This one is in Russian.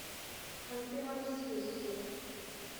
ханты мансийску